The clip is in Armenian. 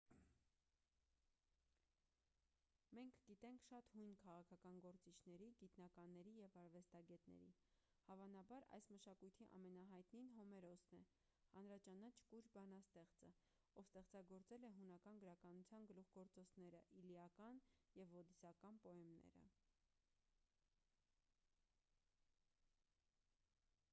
մենք գիտենք շատ հույն քաղաքական գործիչների գիտնականների և արվեստագետների հավանաբար այս մշակույթի ամենահայտնին հոմերոսն է հանրաճանաչ կույր բանաստեղծը ով ստեղծագործել է հունական գրականության գլուխգործոցները իլիական և ոդիսական պոեմները